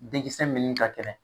Den mini ka kɛnɛ